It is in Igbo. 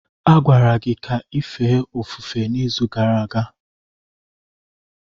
A gwara gị ka ị fee ofufe izu gara aga.